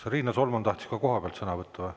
Kas Riina Solman tahtis koha pealt sõna võtta?